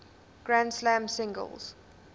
grand slam singles